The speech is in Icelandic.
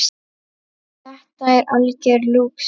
Þetta er algjör lúxus.